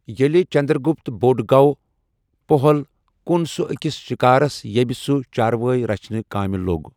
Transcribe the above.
ییٚلہِ چنٛدرگُپت بوٚڑ گوٚو، پٔہل، کُن سُہ أکِس شِکٲرِس ییٚمہ، سُہ چاروٲے رَچھنہٕ کامہِ لوگ ۔